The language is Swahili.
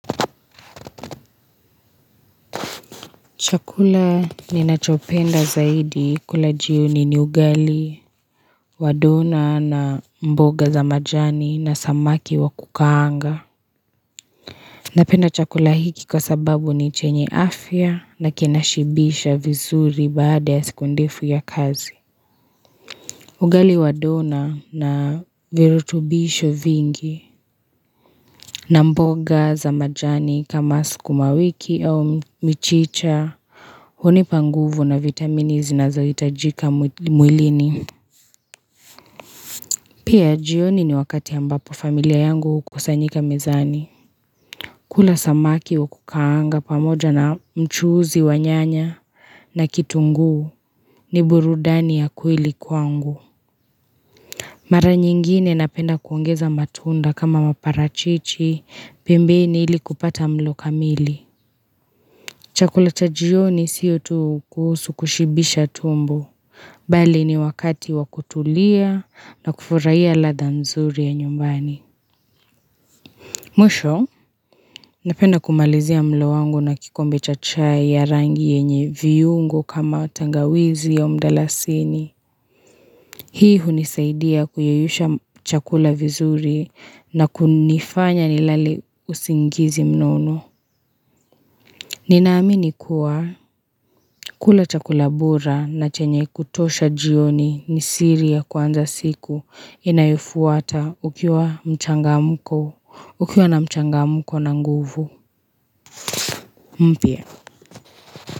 Chakula ni nachopenda zaidi kula jioni ni ugali wa dona na mboga za majani na samaki wa kukaanga Napenda chakula hiki kwa sababu ni chenye afya na kinashibisha vizuri baada ya siku ndefu ya kazi ugali wa dona na virutubisho vingi na mboga za majani kama sikuma wiki au mchicha hunipa nguvu na vitamini zinazoitajika mwilini. Pia jioni ni wakati ambapo familia yangu hukusanyika mezani. Kula samaki wa kukaanga pamoja na mchuzi wa nyanya na kitungu ni burudani ya kueli kwangu. Mara nyingine napenda kuongeza matunda kama maparachichi pembeni ili kupata mlo kamili. Chakula cha jioni siyo tu kuhusu kushibisha tumbo. Bali ni wakati wakutulia na kufuraiya ladha nzuri ya nyumbani. Mwisho, napenda kumalizia mlo wangu na kikombe chachai ya rangi yenye viyungo kama tangawizi au mdalasini. Hii hunisaidia kuyeyusha chakula vizuri na kunifanya nilale usingizi mnono. Ninaaminikuwa kula chakulabora na chenye kutosha jioni ni siri ya kwanza siku inayofuata ukiwa mchangamko ukiwa na mchangamko na nguvu mpia.